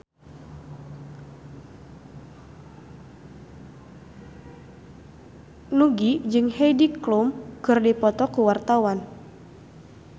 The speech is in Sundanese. Nugie jeung Heidi Klum keur dipoto ku wartawan